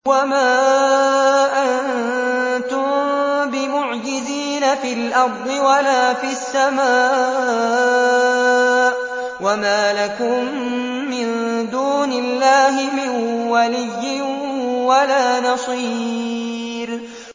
وَمَا أَنتُم بِمُعْجِزِينَ فِي الْأَرْضِ وَلَا فِي السَّمَاءِ ۖ وَمَا لَكُم مِّن دُونِ اللَّهِ مِن وَلِيٍّ وَلَا نَصِيرٍ